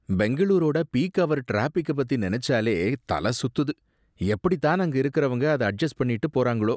பெங்களூரோட peak hour டிராஃபிக்க பத்தி நினைச்சாலே தல சுத்துது, எப்படித்தான் அங்க இருக்கவங்க அத அட்ஜஸ்ட் பண்ணிட்டு போறாங்களோ!